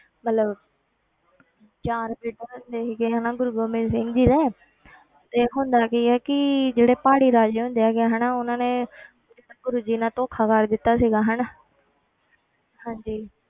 ਮਤਲਬ ਚਾਰ ਬੇਟੇ ਹੁੰਦੇ ਸੀਗੇ ਹਨਾ ਗੁਰੂ ਗੋਬਿੰਦ ਸਿੰਘ ਜੀ ਦੇ ਤੇ ਹੁੰਦਾ ਕੀ ਹੈ ਕਿ ਜਿਹੜੇ ਪਹਾੜੀ ਰਾਜੇ ਹੁੰਦੇ ਹੈਗੇ ਆ ਉਹਨਾਂ ਨੇ ਗੁਰੂ ਜੀ ਨਾਲ ਧੋਖਾ ਕਰ ਦਿੱਤਾ ਸੀਗਾ ਹਨਾ ਹਾਂਜੀ